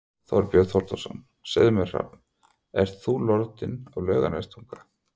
Þorbjörn Þórðarson: Segðu mér Hrafn, ert þú lordinn af Laugarnestanga?